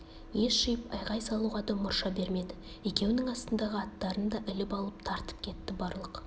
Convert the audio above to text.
ес жиып айғай салуға да мұрша бермеді екеуінің астындағы аттарын да іліп алып тартып кетті барлық